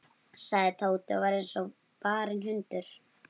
sagði Tóti og var eins og barinn hundur.